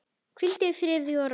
Hvíldu í friði og ró.